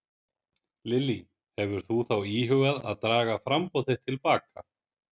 Lillý: Hefur þú þá íhugað að draga framboð þitt til baka?